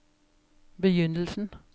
begynnelsen